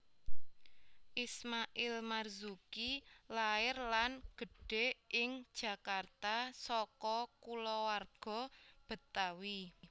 Ismail Marzuki lair dan gedhé ing Jakarta saka kulawarga Betawi